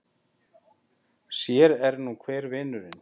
Sér er nú hver vinurinn!